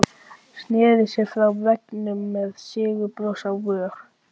Petrónella, stilltu niðurteljara á nítján mínútur.